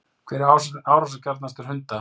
Hver er árásargjarnastur hunda?